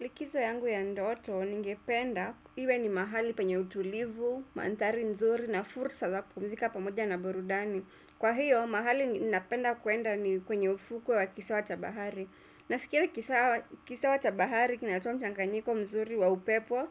Likizo yangu ya ndoto, ningependa, iwe ni mahali penye utulivu, mandhari nzuri na fursa za kupumzika pamoja na burudani. Kwa hiyo, mahali ninapenda kuenda ni kwenye ufuku wa kisawa cha bahari. Nafikiri kisawa cha bahari kinatoa mchanganyiko mzuri wa upepo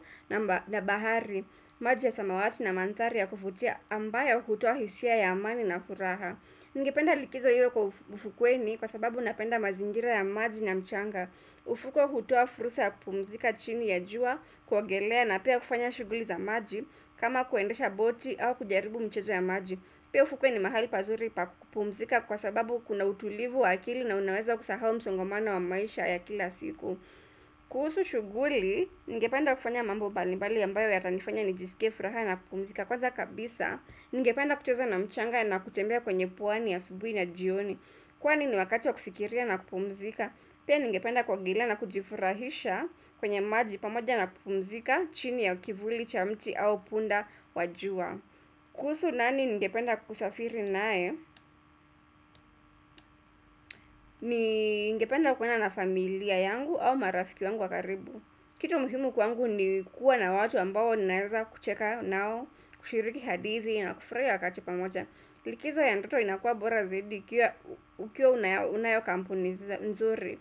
na bahari, maji ya samawati na mandhari ya kuvutia ambayo hutoa hisia ya amani na furaha. Ningependa likizo iwe kwa ufukweni kwa sababu ninapenda mazingira ya maji na mchanga Ufuko hutoa fursa ya kupumzika chini ya jua, kuogelea na pia kufanya shughuli za maji kama kuendesha boti au kujaribu michezo ya maji Pia ufukweni mahali pazuri pa kupumzika kwa sababu kuna utulivu wa akili na unaweza kusahau msongomano wa maisha ya kila siku kuhusu shughuli, ningependa kufanya mambo mbalimbali ambayo yatanifanya nijisike furaha na kupumzika Kwanza kabisa, ningependa kucheza na mchanga na kutembea kwenye pwani ya asubuhi na jioni Kwa nini wakati wa kufikiria na kupumzika Pia ningependa kuogelea na kujifurahisha kwenye maji pamoja na kupumzika chini ya kivuli, cha mti au punda, wa jua kuhusu nani ningependa kusafiri naye Ningependa kwenda na familia yangu au marafiki wangu wa karibu kitu muhimu kwangu ni kuwa na watu ambao ninaweza kucheka nao kushiriki hadithi na kufurahia wakati pamoja Likizo ya ndoto inakuwa bora zaidi ukiwa unayo kampuni mzuri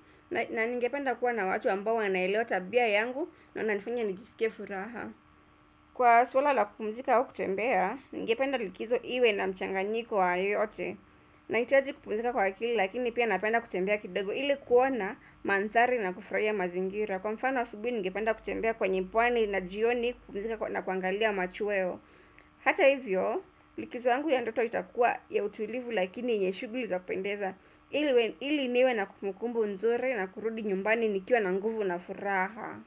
na ningependa kuwa na watu ambao wanaelewa tabia yangu na wananifunya nijisikie furaha Kwa swala la kupumzika au kutembea, ningependa likizo iwe na mchanganyiko wa yoyote Nahitiaji kupumzika kwa kili lakini pia napenda kutembea kidogo ili kuona mandhari na kufurahia mazingira Kwa mfana asubuhi ubi ningependa kutembea kwenye pwani na jioni kupumzika na kuangalia machuweo Hata hivyo, likizo yangu ya ndoto itakua ya utulivu lakini yenye shuguli za pendeza ili niwe na kumukumbu nzuri na kurudi nyumbani nikiwa na nguvu na furaha.